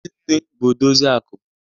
Ndi nne bụ odozi akụ